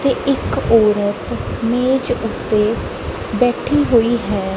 ਤੇ ਇੱਕ ਔਰਤ ਬੀਚ ਉੱਤੇ ਬੈਠੀ ਹੋਈ ਹੈ।